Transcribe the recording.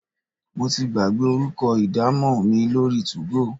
Mo ti gbàgbé orúkọ idamo mi lórí two-go.